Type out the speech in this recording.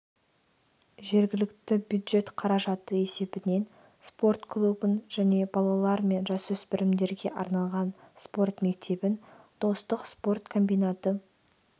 жергілікті бюджет қаражаты есебінен спорт клубын және балалар мен жасөспірімдерге арналған спорт мектебін достық спорт комбинаты